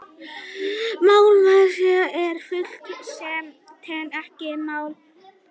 málmleysingjar eru frumefni sem teljast ekki til málma